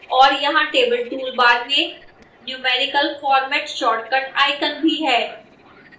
और यहां table toolbar में numerical फॉर्मेट shortcut icons भी हैं